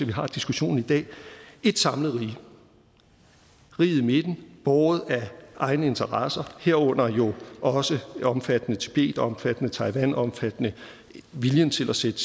vi har diskussionen i dag ét samlet rige riget i midten båret af egne interesser herunder jo også omfattende tibet og omfattende taiwan omfattende viljen til at sætte